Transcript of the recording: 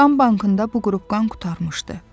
Qan bankında bu qrup qan qurtarmışdı.